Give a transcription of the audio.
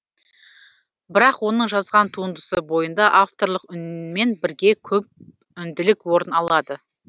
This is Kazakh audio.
бірақ оның жазған туындысы бойында авторлық үнмен бірге көпүнділік орын алады